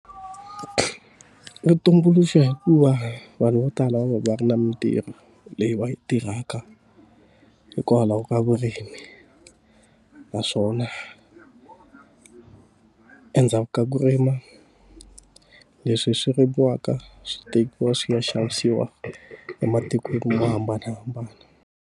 Ri tumbuluxa hikuva vanhu vo tala va va ri na mintirho leyi va yi tirhaka, hikwalaho ka vurimi. Naswona endzhaku ka ku rima leswi swi rimiwaka, swi tekiwa swi ya xavisiwa ematikweni mo hambanahambana.